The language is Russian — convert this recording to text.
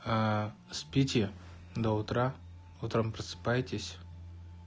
аа спите до утра утром просыпаетесь